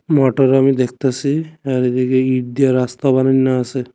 মটর আমি দেখতাসি আর এদিকে ইট দিয়া রাস্তা বানান্যা আসে।